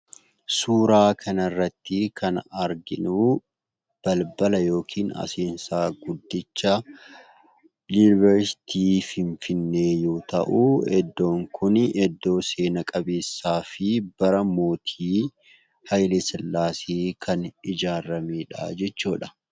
Suuraa kanarrattii kan arginuu balbala yookiin aseensaa guddicha Yuunivarsiitii Finfinnee yoo ta'uu iddoon kuni iddoo seena qabeessaa fi bara mootii Hayilesillaasee kan ijaaramedhaa jechuudha.